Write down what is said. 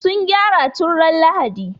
Sun gyara tun ran Lahadi.